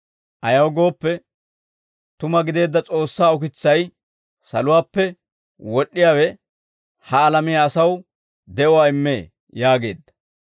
Ayaw gooppe, tuma gideedda S'oossaa ukitsay, saluwaappe wod'd'iyaawe ha alamiyaa asaw de'uwaa immee» yaageedda.